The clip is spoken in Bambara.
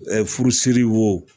Ɛɛ furusiri wo